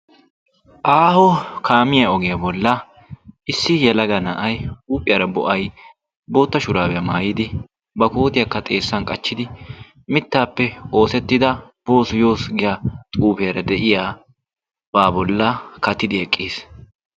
aaho kaamiyaa ogiyaa bolla issi yalaga na7ai huuphiyaara bo7ai bootta shuraabiyaa maayidi ba kootiyaakka xeessan qachchidi mittaappe oosettida boosu yoos giya xuufiyaara de7iya baa bolla katidi eqqiis.